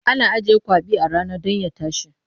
Ana ajiye kwaɓi a rana don ya tashi.